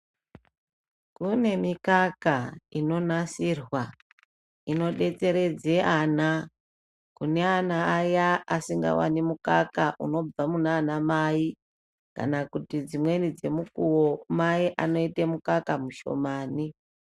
Kune mikaka inonasirwa inobetseredze vana kune vana vaya vasingavani mukaka unobva munana mai. Kana kuti dzimweni dzemukuvo mai anoite mukaka mushomani.